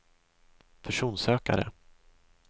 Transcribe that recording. personsökare